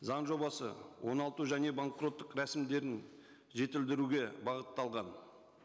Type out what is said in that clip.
заң жобасы оңалту және банкроттық рәсімдерін жетілдіруге бағытталған